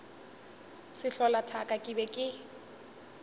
sehlola thaka ke be ke